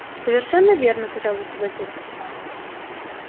совершенно верно тотчас же согласился капитан